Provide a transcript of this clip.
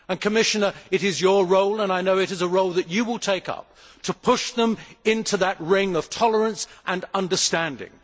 Commissioner, it is your role and I know it is a role you will take up to push them into that ring of tolerance and understanding.